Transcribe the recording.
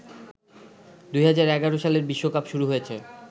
২০১১ সালের বিশ্বকাপ শুরু হয়েছে